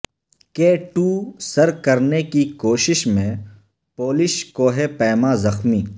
کے ٹو سر کرنے کی کوشش میں پولش کوہ پیما زخمی